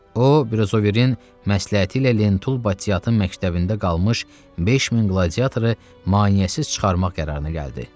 O, Brizaverin məsləhəti ilə Lentul Batiatın məktəbində qalmış 5000 qladiatoru maneəsiz çıxarmaq qərarına gəldi.